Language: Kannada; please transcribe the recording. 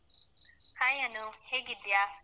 Hai ಅನೂದ್ ಹೇಗಿದ್ಯಾ?